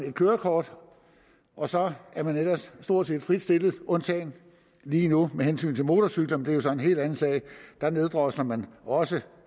et kørekort og så er man ellers stort set frit stillet undtagen lige nu med hensyn til motorcykler men det er så en helt anden sag der neddrosler man også